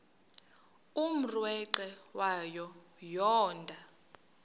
umrweqe wayo yoonda